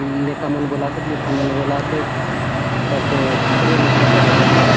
लेका मन बले आसेत लेकी मन बले आसेत एथा तो खुबे लोक दखा देसोत मांतर --